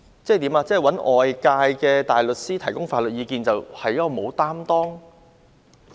難道找外間大律師提供法律意見，就是沒有擔當？